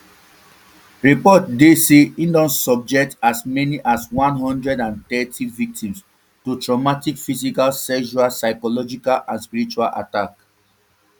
reports dey say e don subject as many as one hundred and thirty victims to traumatic physical sexual psychological and spiritual attacks